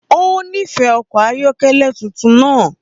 Ó nífẹ̀ẹ́ ọkọ̀ ayọ́kẹ́lẹ́ tuntun náà